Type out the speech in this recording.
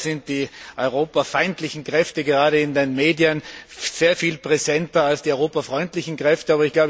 Leider sind die europafeindlichen Kräfte gerade in den Medien sehr viel präsenter als die europafreundlichen Kräfte.